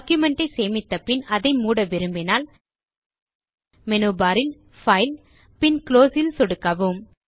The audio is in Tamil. டாக்குமென்ட் ஐ சேமித்த பின் அதை மூட விரும்பினால் மேனு பார் இல் பைல் பின் குளோஸ் இல் சொடுக்கவும்